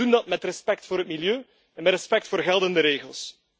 En ze doen dat met respect voor het milieu en met respect voor geldende regels.